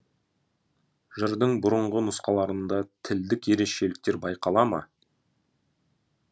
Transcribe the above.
жырдың бұрынғы нұсқаларында тілдік ерекшеліктер байқала ма